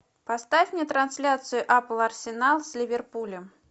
поставь мне трансляцию апл арсенал с ливерпулем